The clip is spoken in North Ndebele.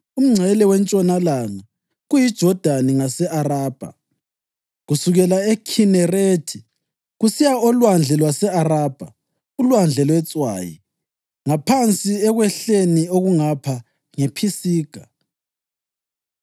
Umngcele wentshonalanga kuyiJodani ngase-Arabha, kusukela eKhinerethi kusiya oLwandle lwase-Arabha (uLwandle lweTswayi) ngaphansi ekwehleni okungapha ngePhisiga.